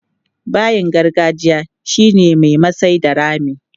Bayin gargajiya shi ne mai masai da rami.